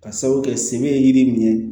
Ka sabu kɛ sɛbɛ ye yiri min ye